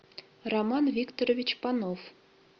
роман викторович панов